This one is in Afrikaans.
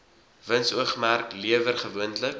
winsoogmerk lewer gewoonlik